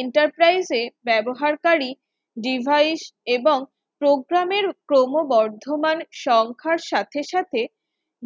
Enterprise ব্যবহারকারী devise এবং program র ক্রমবর্ধমান সংখ্যার সাথে সাথে